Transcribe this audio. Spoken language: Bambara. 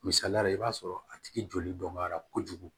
Misaliyala i b'a sɔrɔ a tigi joli dɔnbaliya kojugu